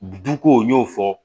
Duko n y'o fɔ